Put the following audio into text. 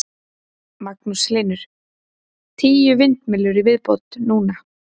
Magnús Hlynur: Tíu vindmyllur í viðbót núna?